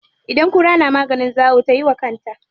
Idan kura na maganin zawo tayi wa kanta.